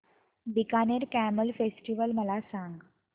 Bikaner camel festival मला सांग